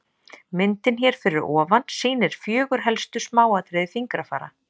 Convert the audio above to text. Myndin hér fyrir ofan sýnir fjögur helstu smáatriði fingrafara.